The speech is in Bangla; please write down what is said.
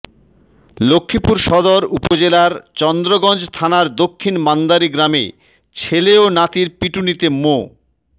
লক্ষ্মীপুর সদর উপজেলার চন্দ্রগঞ্জ থানার দক্ষিণ মান্দারী গ্রামে ছেলে ও নাতির পিটুনিতে মো